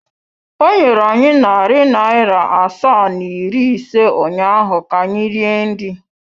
O nyere anyị narị naira asaa na iri ise ụnyahụ ka anyị rie nri.